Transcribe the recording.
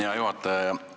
Hea juhataja!